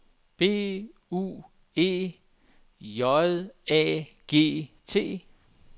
B U E J A G T